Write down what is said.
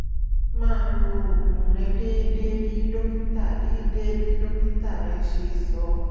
máa lo oògùn rẹ déédéé bí dókítà déédéé bí dókítà rẹ ṣe sọ